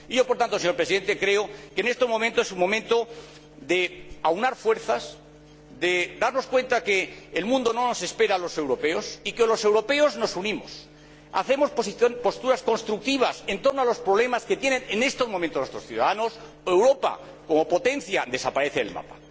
Yo, por tanto, señor Presidente, creo que este momento es un momento de aunar fuerzas, de darnos cuenta de que el mundo no nos espera a los europeos y de que, o los europeos nos unimos y mantenemos posturas constructivas en torno a los problemas que tienen en estos momentos nuestros ciudadanos, o Europa, como potencia, desaparece del mapa.